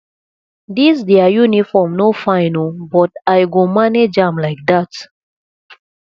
dis their uniform no fine oo but i go manage am like dat